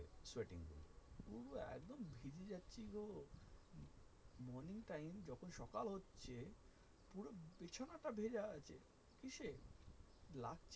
mean time যখন সকাল হচ্ছে পুরো বিছানাটা ভিজা আছে কীসে?